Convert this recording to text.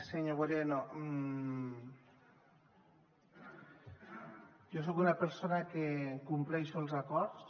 senyor moreno jo soc una persona que compleix els acords